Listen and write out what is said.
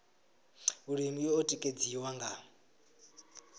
vhulimi i o tikedziwa nga